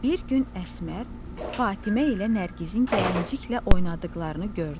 Bir gün Əsmər Fatimə ilə Nərgizin gəlinclə oynadıqlarını gördü.